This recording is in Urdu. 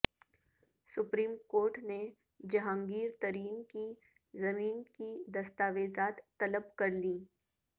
سپریم کورٹ نےجہانگیرترین کی زمین کی دستاویزات طلب کرلیں